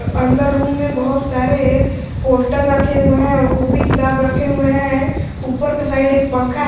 और अंदर रूम में बहुत सारे पोस्टर रखे हुए है और कॉपी किताब रखे हुए है ऊपर का साइड एक पंखा है।